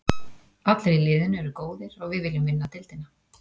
Allir í liðinu eru góðir og við viljum vinna deildina.